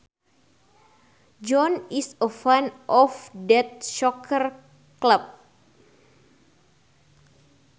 John is a fan of that soccer club